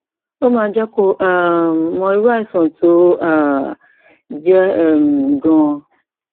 ó máa jẹ kó o um mọ irú àìsàn tó um jẹ um ganan